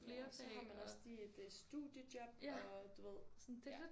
Ja og så har man også lige et øh studiejob og du ved ja